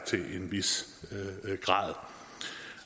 til en vis grad